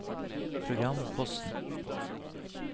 programposten